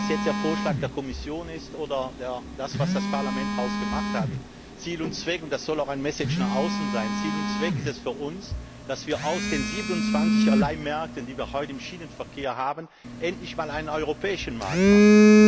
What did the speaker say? Ob es jetzt der Vorschlag der Kommission ist oder das, was das Parlament daraus gemacht hat Ziel und Zweck und das soll auch eine Message nach außen sein ist es für uns, dass wir aus den 27Einzelmärkten, die wir heute im Schienenverkehr haben, endlich einen europäischen Markt machen.